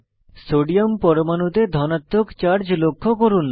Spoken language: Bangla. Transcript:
সোডিয়াম পরমাণুতে ধনাত্মক চার্জ লক্ষ্য করুন